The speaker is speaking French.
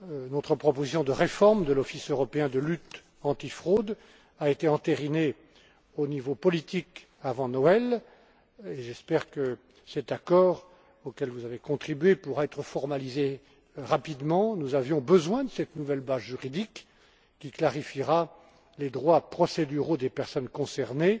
Notre proposition de réforme de l'Office européen de lutte antifraude a été entérinée au niveau politique avant Noël, et j'espère que cet accord, auquel vous avez contribué, pourra être formalisé rapidement. Nous avions besoin de cette nouvelle base juridique qui clarifiera les droits procéduraux des personnes concernées